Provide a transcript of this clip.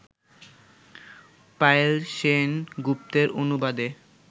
পায়েল সেন গুপ্তের অনুবাদে